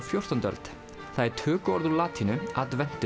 fjórtándu öld það er tökuorð úr latínu